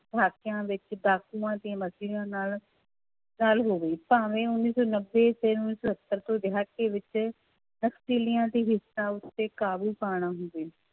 ਦਹਾਕਿਆਂ ਵਿੱਚ ਡਾਕੂਆਂਂ ਤੇ ਨਾਲ ਗੱਲ ਹੋਵੇ ਭਾਵੇਂ ਉੱਨੀ ਸੌ ਨੱਬੇ ਤੇ ਉੱਨੀ ਸੌ ਸੱਤਰ ਦਹਾਕੇ ਵਿੱਚ ਤਬਦੀਲੀਆਂ ਤੇ ਹਿੰਸਾ ਉੱਤੇ ਕਾਬੂ ਪਾਉਣਾ ਹੋਵੇ